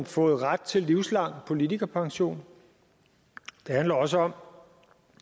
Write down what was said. fået ret til livslang politikerpension det handler også om